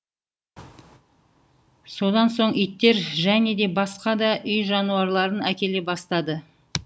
содан соң иттер және де басқа да үй жануарларын әкеле бастады